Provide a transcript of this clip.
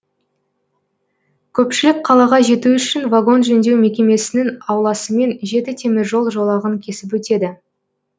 көпшілік қалаға жету үшін вагон жөндеу мекемесінің ауласымен жеті темір жол жолағын кесіп өтеді